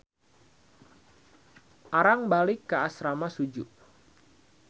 Arang balik ka asrama Suju.